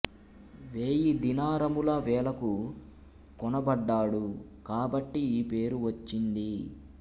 వేయి దీనారముల వెలకు కొనబడ్డాడు కాబట్టి ఈ పేరు వచ్చింది